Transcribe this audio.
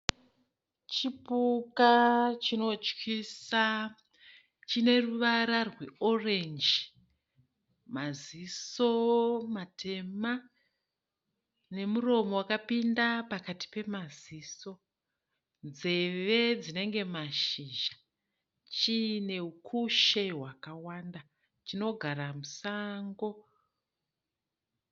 Chipuka chinotyisa. Chine ruvara rweorenji. Maziso matema nemuromo wakapinda pakati pemaziso. Nzeve dzinenge mashizha, chiine ukushe hwakawanda, chinogara musango.